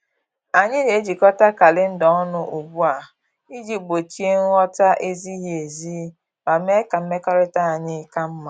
Anyị na-ejikota kalenda ọnụ ugbu a iji gbochie nghọta-ezighi ezi ma mee ka mmekọrịta anyị ka mma